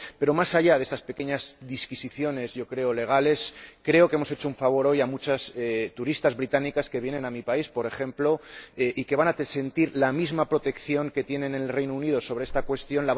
Pero, más allá de estas pequeñas disquisiciones yo creo, legales creo que hemos hecho un favor hoy a muchas turistas británicas que vienen a mi país, por ejemplo, y que van a sentir la misma protección que tienen en el Reino Unido en esta cuestión.